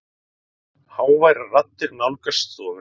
Háværar raddir nálgast stofuna.